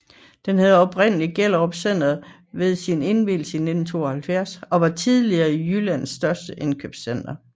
Det hed oprindeligt Gellerup Center ved sin indvielse i 1972 og var tidligere Jyllands største indkøbscenter